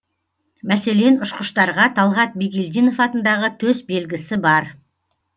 мәселен ұшқыштарға талғат бигелдинов атындағы төсбелгісі бар